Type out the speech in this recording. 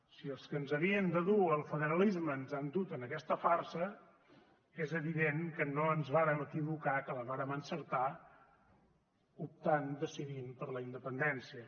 si els que ens havien de dur al federalisme ens han dut a aquesta farsa és evident que no ens vàrem equivocar que la vàrem encertar optant decidint per la independència